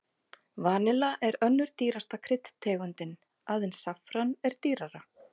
Vanilla er önnur dýrasta kryddtegundin, aðeins saffran er dýrara.